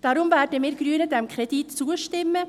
Darum werden wir Grünen dem Kredit zustimmen.